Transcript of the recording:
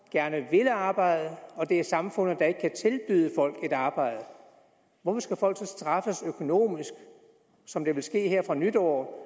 gerne vil arbejde og det er samfundet der ikke kan tilbyde folk et arbejde hvorfor skal folk så straffes økonomisk som det vil ske her fra nytår